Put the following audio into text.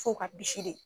F'o ka bisi de